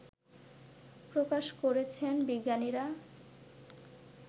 প্রকাশ করেছেন বিজ্ঞানীরা